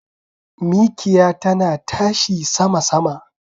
Mikiya tana tashi sama sama.